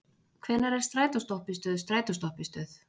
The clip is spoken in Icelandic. Hvenær er strætóstoppistöð strætóstoppistöð?